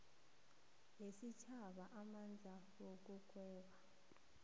yesitjhaba amandla wokugweba